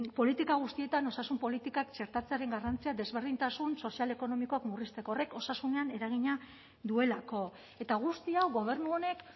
politika guztietan osasun politikak txertatzearen garrantzia desberdintasun sozial ekonomikoak murrizteko horrek osasunean eragina duelako eta guzti hau gobernu honek